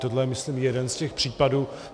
Tohle je myslím jeden z těch případů.